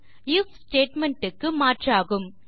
if statement க்கு மாற்றாகும்